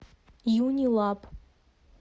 юнилаб